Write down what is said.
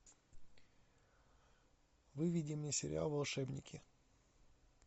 выведи мне сериал волшебники